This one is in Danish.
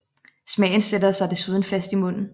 Smagen sætter sig desuden fast i munden